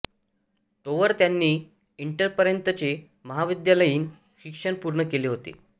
तोवर त्यांनी इंटरपर्यंतचे महाविद्यालयीन शिक्षण पूर्ण केले होते